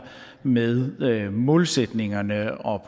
med målsætningerne